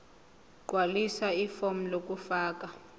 gqwalisa ifomu lokufaka